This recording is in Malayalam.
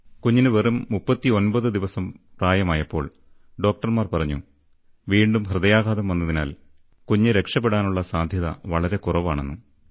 കുഞ്ഞിന് വെറും 39 ദിവസം പ്രായമായപ്പോൾ ഡോക്ടർ പറഞ്ഞു വീണ്ടും ഹൃദയാഘാതം വന്നതിനാൽ കുഞ്ഞ് രക്ഷപ്പെടാനുള്ള സാധ്യത വളരെ കുറവാണെന്ന്